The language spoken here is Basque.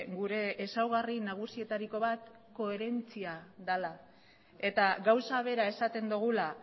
gure ezaugarri nagusietariko bat koherentzia dela eta gauza bera esaten dugula